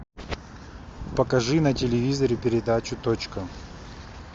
покажи на телевизоре передачу точка